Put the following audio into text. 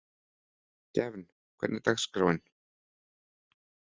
Gefn, hvernig er dagskráin?